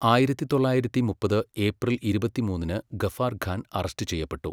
ആയിരത്തി തൊള്ളായിരത്തി മുപ്പത് ഏപ്രിൽ ഇരുപത്തിമൂന്നിന് ഗഫാർ ഖാൻ അറസ്റ്റ് ചെയ്യപ്പെട്ടു.